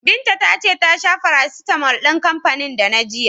Binta ta ce ta sha farasitamol din kanfanin Dana jiya.